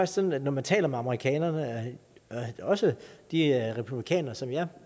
sådan at når man taler med amerikanerne også de republikanere som jeg